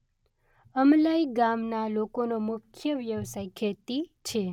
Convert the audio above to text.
અમલાઇ ગામના લોકોનો મુખ્ય વ્યવસાય ખેતી છે.